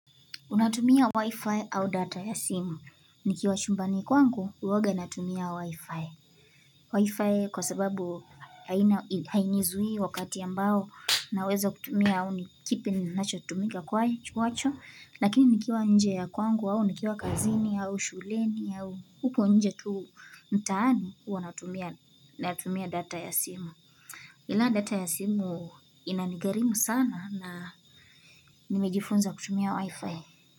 Unatumia wi-fi au data ya simu? Nikiwa chumbani kwangu, huwanga natumia wi-fi. Wi-fi kwa sababu haina hainizuii wakati ambao naweza kutumia au ni kipi ninacho tumika kwa kukiacha Lakini nikiwa nje ya kwangu au nikiwa kazini au shuleni au huko nje tuu mtaani, huwa natumia natumia data ya simu. Ila data ya simu inanigharimu sana na nimejifunza kutumia wi-fi.